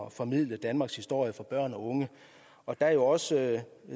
at formidle danmarks historie til børn og unge der er også